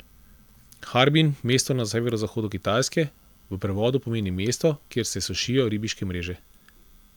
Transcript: Harbin, mesto na severovzhodu Kitajske, v prevodu pomeni mesto, kjer se sušijo ribiške mreže.